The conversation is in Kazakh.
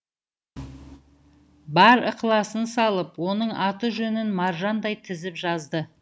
бар ықыласын салып оның аты жөнін маржандай тізіп жазды